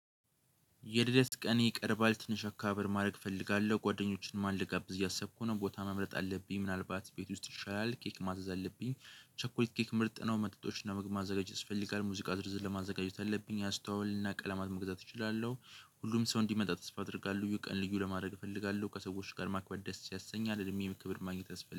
የልደት ቀን ይቀርባል ትንሽ አካባቢ ማድረግ እፈልጋለሁ ጓደኞችን ማን ልጋብዝ እያሰብኩ ነው ቦታ መምረጥ አለብኝ ምናልባት ቤት ውስጥ ይሻላል ኬክ ማዘዝ አለብኝ። ቸኮሊት ኬክ ምርጥ ነው መጥቶችን ለመግባት ማዘጋጀት ያስፈልጋል ሙዚቃ ድርዝር ለማዘጋጀት አለብኝ አስተዋውልና ቀለማት መግዛት እችላለሁ። ሁሉም ሰው እንዲመጣ ተስፋ አደርጋለሁ ቀን ልዩ ለማድረግ እፈልጋለሁ። ከሰዎች ጋር ማክበር ደስ ያሰኛል እድሜ የምክብር ማግኘት ያስፈልጋል